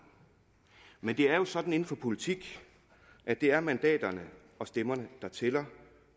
men det er jo sådan inden for politik at det er mandaterne og stemmerne der tæller